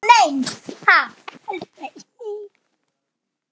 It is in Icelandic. Ekki neitt má neinn!